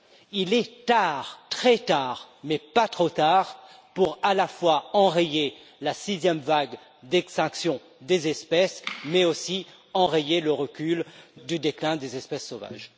Il est tard, très tard, mais pas trop tard pour à la fois enrayer la sixième vague d'extinction des espèces, mais aussi enrayer le recul du déclin des espèces sauvages.